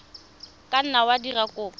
ka nna wa dira kopo